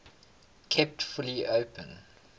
kept fully open